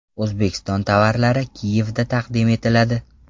O‘zbekiston tovarlari Kiyevda taqdim etiladi.